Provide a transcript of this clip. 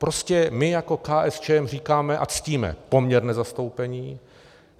Prostě my jako KSČM říkáme a ctíme poměrné zastoupení.